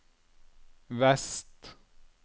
vest